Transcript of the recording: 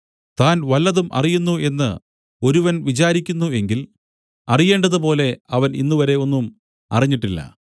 താൻ വല്ലതും അറിയുന്നു എന്ന് ഒരുവൻ വിചാരിക്കുന്നു എങ്കിൽ അറിയേണ്ടതുപോലെ അവൻ ഇന്നുവരെ ഒന്നും അറിഞ്ഞിട്ടില്ല